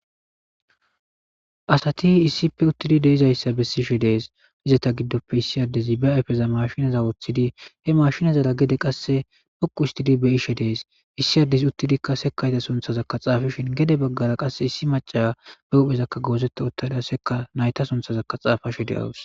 Asati issippe uttidi de'iza issa bessishe dees. Izata giddoppe issi addezi ba ayifeza mashinaza woththidi ha mashinazara gede qasse xoqu othtidi be'ishe dees. Issi addezi uttidikka sekaayta sunthazakka xaafishin gede baggara qasse issi maca ba huphezakka goozetta utta nayita sunthazaka xaafashe de'awus.